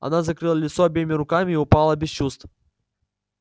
она закрыла лицо обеими руками и упала без чувств